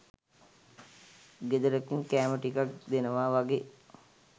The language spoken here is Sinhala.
ගෙදරකින් කෑම ටිකක් දෙනවා වගේ